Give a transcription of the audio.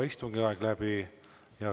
Istungi aeg on saanud läbi.